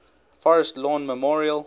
forest lawn memorial